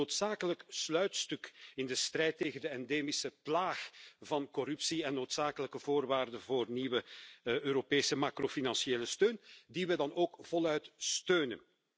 Dit is het noodzakelijke sluitstuk in de strijd tegen de endemische plaag van corruptie en een noodzakelijke voorwaarde voor nieuwe Europese macrofinanciële bijstand, die we dan ook voluit steunen.